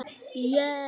Geta það ekki.